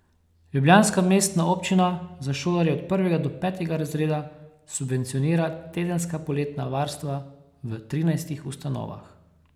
Ljubljanska mestna občina za šolarje od prvega do petega razreda subvencionira tedenska poletna varstva v trinajstih ustanovah.